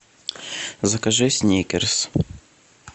закажи сникерс